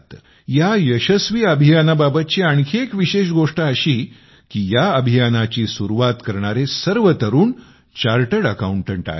या यशस्वी अभियानाबाबतची एक विशेष गोष्ट अशी की या अभियानाची सुरुवात करणारे सर्व तरुण चार्टर्ड अकाउंटंट आहेत